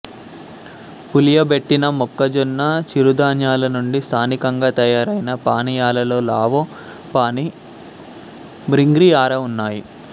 పులియబెట్టిన మొక్కజొన్న చిరుధాన్యాల నుండి స్థానికంగా తయారైన పానీయాలలో లావో పానీ మింగ్రీ ఆరా ఉన్నాయి